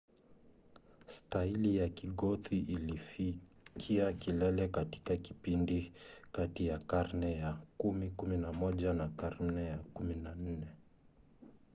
staili ya kigothi ilifikia kilele katika kipindi kati ya karne za 10-11 na karne ya 14